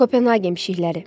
Kopenhagen mişşiqələri.